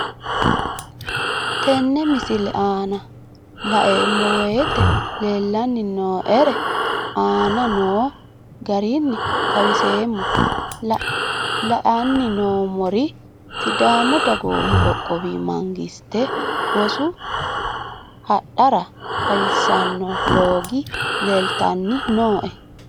Tenne misile aana laeemmo woyte leelanni noo'ere aane noo garinni xawiseemmo. La'anni noomorri sidaamu dagoomu qoqqowi mangiste rosu handaara xawissano loogo leelitanni nooe